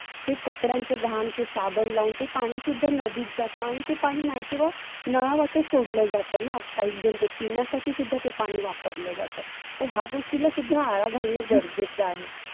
ते कपड्यांच घान, ते साबण लावून ते पाणि सुद्धा नदीत जात आणि ते पाणि नाही तेव्हा नळावाटेच सोडलं जात ना. काहीक जन ते पिण्यासाठी सुद्धा ते पाणि वापरलं जातं. तर ह्या गोष्टींना सुद्धा आळा घालनं गरजेच आहे.